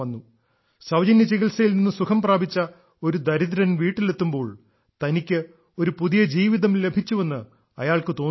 സൌജന്യ ചികിത്സയിൽ നിന്ന് സുഖം പ്രാപിച്ച് ഒരു ദരിദ്രൻ വീട്ടിലെത്തുമ്പോൾ തനിക്ക് ഒരു പുതിയ ജീവിതം ലഭിച്ചുവെന്ന് അയാൾക്ക് തോന്നുന്നു